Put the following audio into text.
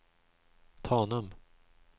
Tanum